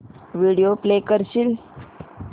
video play करशील